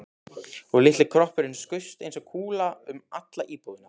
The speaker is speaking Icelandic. Og litli kroppurinn skaust eins og kúla um alla íbúðina.